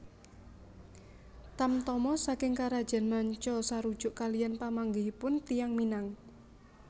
Tamtama saking karajaan manca sarujuk kaliyan pamanggihipun tiyang Minang